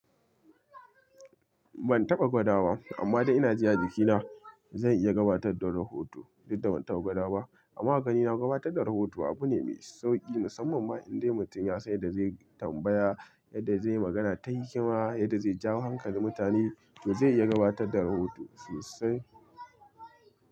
Ban taɓa gwadawa amma dai ina ji a jikina zan iya gabatar da rahoto. Duk da ban taɓa gwada ba amma a ganina gabatar da rahoto abu ne mai sauki musamman ma in dai mutum ya san yadda zaiyi tambaya, yadda zaiyi magana ta hikima, yadda zai jawo hankalin mutane to zai iya gabatar da rahoto sosai.